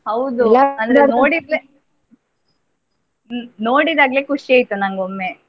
ಹೌದು ನೋಡಿದ್ದೆ ನೋಡಿದಾಗಲೆ ಖುಷಿ ಆಯ್ತು ಒಮ್ಮೆ.